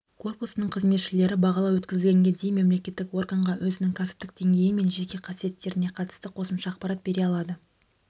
корпусының қызметшілері бағалау өткізілгенге дейін мемлекеттік органға өзінің кәсіптік деңгейі мен жеке қасиеттеріне қатысты қосымша ақпарат бере алады